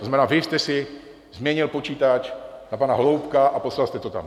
To znamená, vy jste si změnil počítač na pana Holoubka a poslal jste to tam?